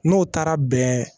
N'o taara bɛn